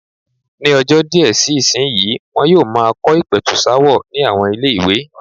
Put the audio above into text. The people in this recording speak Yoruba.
Ní ọjọ́ díẹ̀ sí ìsìnyí, wọn yóò máa kọ́ ìpẹ̀tùsááwọ̀ ní àwọn ilé-ìwé.